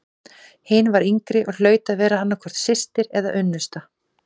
Hin var yngri og hlaut að vera annað hvort systir eða unnusta.